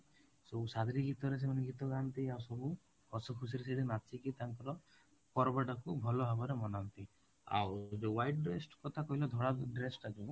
ସବୁ ଗୀତରେ ସେମାନେ ଗୀତ ଗାଆନ୍ତି ଆଉ ସବୁ ହସ ଖୁସିରେ ସେଇଠି ନାଚିକି ତାଙ୍କର ପର୍ବ ଟାକୁ ଭଲ ଭାବରେ ମନାନ୍ତି ଆଉ ଯୋଉ white dress କଥା କହିଲ ଧଳା dress ଟା ଯୋଉ